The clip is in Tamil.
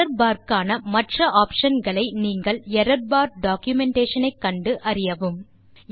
எரார்பார் க்கான மற்ற optionகளை நீங்கள் எரார்பார் டாக்குமென்டேஷன் ஐ கண்டு அறியவும்